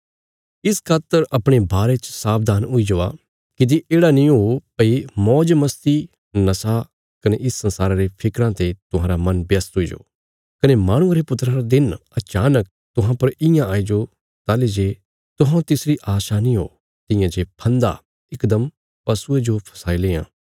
इस खातर अपणे बारे च सावधान हुई जावा किति येढ़ा नीं हो भई मौज मस्ती नशा कने इस संसारा रे फिक्रां ते तुहांरा मन व्यस्त हुईजो कने माहणुये रे पुत्रा रा दिन अचानक तुहां पर इयां आईजो ताहली जे तुहौं तिसरी आशा नीं हो तियां जे फन्दा इकदम पशुये जो फसाई लेआं